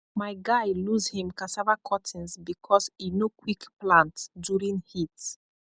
my guy lose him cassava cuttings because e no quick plant during heat